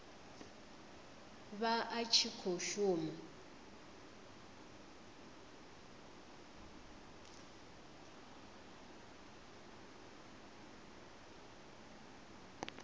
vha a tshi khou shuma